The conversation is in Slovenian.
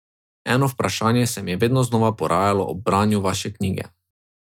Eno vprašanje se mi je vedno znova porajalo ob branju vaše knjige.